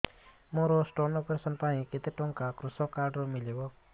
ମୋର stone operation ପାଇଁ କେତେ ଟଙ୍କା କୃଷକ କାର୍ଡ ରୁ ମିଳିବ